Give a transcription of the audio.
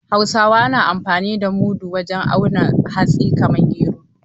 Hausawa na amfani da mudu wajen auna hatsi kamar gero.